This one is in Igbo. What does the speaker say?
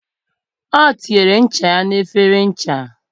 O tinyere ncha ya na efere ncha